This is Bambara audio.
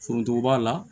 Foronto b'a la